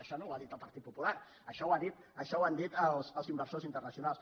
això no ho ha dit el partit popular això ho han dit els inversors internacionals